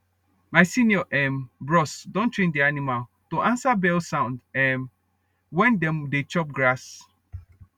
my senior um bros don train d animal dem to answer bell sound um wen dem dey chop grass